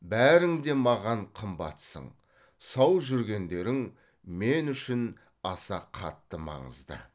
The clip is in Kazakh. бәрің де маған қымбатсың сау жүргендерің мен үшін аса қатты маңызды